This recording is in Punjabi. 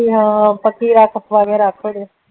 ਹਾਂ ਪੱਕੀ ਰੱਖ